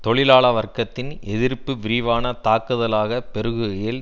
தொழிலாள வர்க்கத்தின் எதிர்ப்பு விரிவான தாக்குதலாக பெருகுகையில்